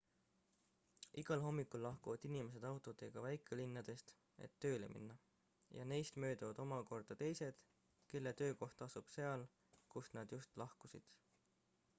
igal hommikul lahkuvad inimesed autodega väikelinnadest et tööle minna ja neist mööduvad omakorda teised kelle töökoht asub seal kust nad just lahkusid